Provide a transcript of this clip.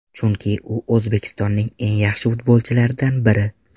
Chunki u O‘zbekistonning eng yaxshi futbolchilaridan biri.